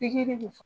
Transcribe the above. Pikiri de fɔ